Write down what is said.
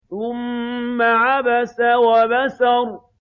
ثُمَّ عَبَسَ وَبَسَرَ